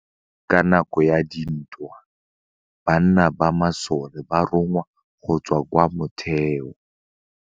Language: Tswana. Ka nakô ya dintwa banna ba masole ba rongwa go tswa kwa mothêô.